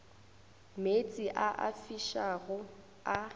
meetse a a fišago a